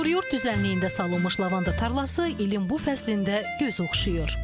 Çuxuryurd düzənliyində salınmış lavanda tarlası ilin bu fəslində göz oxşayır.